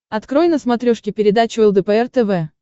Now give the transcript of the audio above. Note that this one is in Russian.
открой на смотрешке передачу лдпр тв